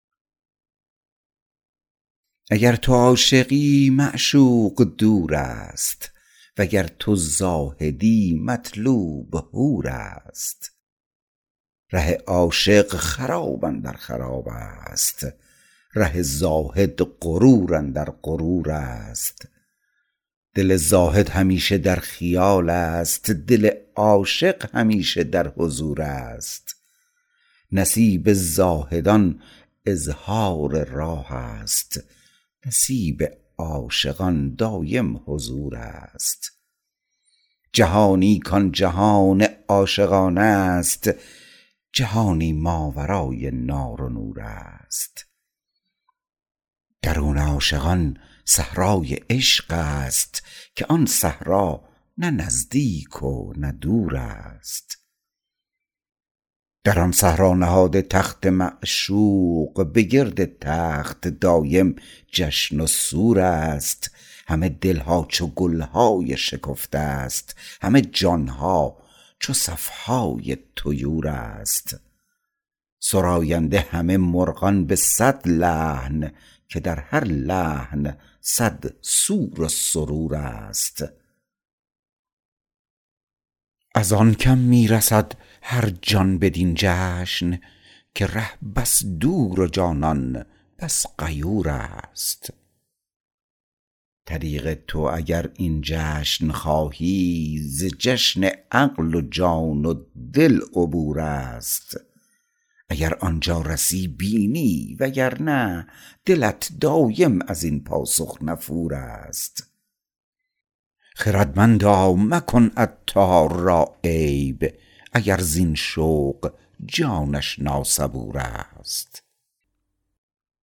اگر تو عاشقی معشوق دور است وگر تو زاهدی مطلوب حور است ره عاشق خراب اندر خراب است ره زاهد غرور اندر غرور است دل زاهد همیشه در خیال است دل عاشق همیشه در حضور است نصیب زاهدان اظهار راه است نصیب عاشقان دایم حضور است جهانی کان جهان عاشقان است جهانی ماورای نار و نور است درون عاشقان صحرای عشق است که آن صحرا نه نزدیک و نه دور است در آن صحرا نهاده تخت معشوق به گرد تخت دایم جشن و سور است همه دلها چو گلهای شکفته است همه جان ها چو صف های طیور است سراینده همه مرغان به صد لحن که در هر لحن صد سور و سرور است ازان کم می رسد هرجان بدین جشن که ره بس دور و جانان بس غیور است طریق تو اگر این جشن خواهی ز جشن عقل و جان و دل عبور است اگر آنجا رسی بینی وگرنه دلت دایم ازین پاسخ نفور است خردمندا مکن عطار را عیب اگر زین شوق جانش ناصبور است